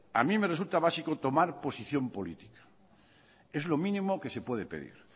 a mí me resulta básico tomar posición política es lo mínimo que se puede pedir